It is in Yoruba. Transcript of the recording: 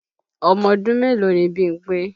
Ọmọdún mélòó ni Bímpé?